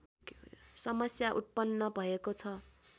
समस्या उत्पन्न भएको छ